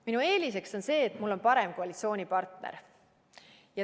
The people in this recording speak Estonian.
Minu eelis on see, et mul on parem koalitsioonipartner.